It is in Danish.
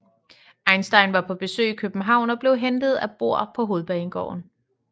Einstein var på besøg i København og blev hentet af Bohr på Hovedbanegården